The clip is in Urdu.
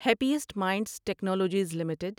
happiest minds technologies limited